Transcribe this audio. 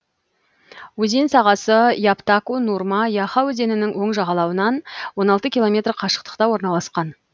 өзен сағасы яптако нурма яха өзенінің оң жағалауынан он алты километр қашықтықта орналасқан